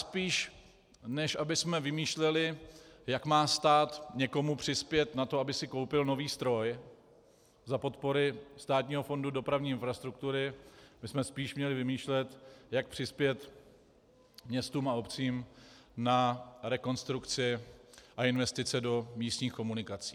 Spíš než abychom vymýšleli, jak má stát někomu přispět na to, aby si koupil nový stroj za podpory Státního fondu dopravní infrastruktury, bychom spíš měli vymýšlet, jak přispět městům a obcím na rekonstrukci a investice do místních komunikací.